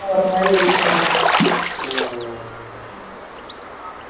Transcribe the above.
ம்